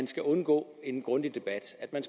skal undgå en grundig debat at